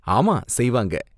ஆமா செய்வாங்க.